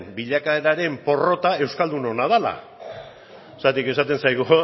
bilakaeraren porrota euskaldunena dela zergatik esaten zaigu